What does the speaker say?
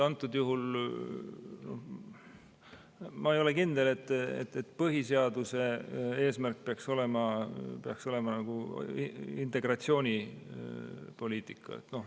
Antud juhul ma ei ole kindel, et põhiseaduse eesmärk peaks olema integratsioonipoliitika.